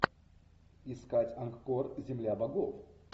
искать анкорд земля богов